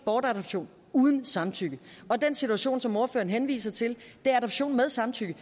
bortadoption uden samtykke og den situation som ordføreren henviser til er adoption med samtykke